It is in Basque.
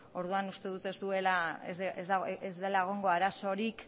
orduan uste dut ez dela egongo arazorik